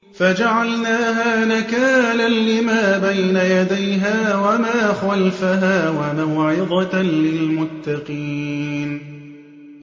فَجَعَلْنَاهَا نَكَالًا لِّمَا بَيْنَ يَدَيْهَا وَمَا خَلْفَهَا وَمَوْعِظَةً لِّلْمُتَّقِينَ